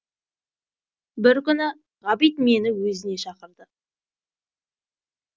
бір күні ғабит мені өзіне шақырды